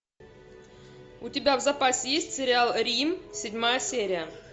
у тебя в запасе есть сериал рим седьмая серия